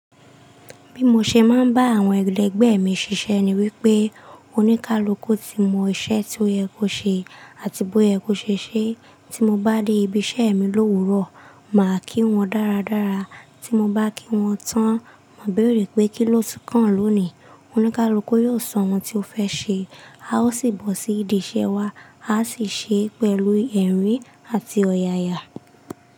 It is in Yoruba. Bí mo ṣe máa ń bá àwọn ẹlegbẹ́ mi ṣiṣẹ́ ni wípé oníkálukú ti mọ iṣẹ́ tí ó yẹ kó ṣe àti bó yẹ kó ṣe ṣe, tí mo bá dé ibi iṣẹ́ mi l'òwúrò, màá kí wọn dáradára, tí mo bá kí wọn tán, màá béèrè pé kíló ti kàn lónìí? Oníkálukú yóò sọ ohun tí ó fẹ́ ṣe, a ó sì bọ́ sí ìdí iṣẹ́ wa, a sì ṣe é pẹ̀lú ẹ̀rín àti ọ̀yàyà.